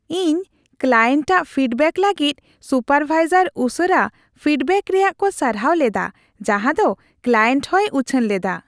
ᱤᱧ ᱠᱞᱟᱭᱮᱱᱴ ᱟᱜ ᱯᱷᱤᱰᱵᱮᱠ ᱞᱟᱹᱜᱤᱫ ᱥᱩᱯᱟᱨᱵᱷᱟᱭᱡᱟᱨ ᱩᱥᱟᱹᱨᱟ ᱯᱷᱤᱰᱵᱮᱠ ᱨᱮᱭᱟᱜ ᱠᱚ ᱥᱟᱨᱦᱟᱣ ᱞᱮᱫᱟ ᱡᱟᱸᱦᱟᱫᱚ ᱠᱞᱟᱭᱮᱱᱴ ᱦᱚᱸᱭ ᱩᱪᱷᱟᱹᱱ ᱞᱮᱫᱟ ᱾